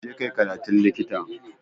Je kai karatun Likita